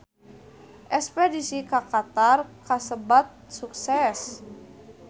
Espedisi ka Qatar kasebat sukses